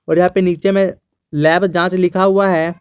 और यहां पर नीचे में लैब जांच लिखा हुआ है।